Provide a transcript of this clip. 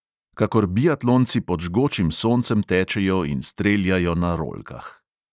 Kakor biatlonci pod žgočim soncem tečejo in streljajo na rolkah.